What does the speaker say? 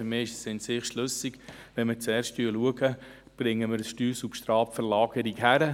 Für mich ist es in sich schlüssig, dass wir zuerst schauen, ob wir eine Verlagerung des Steuersubstrats hinkriegen.